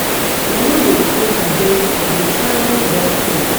I no dey come harvest I dey travel dat time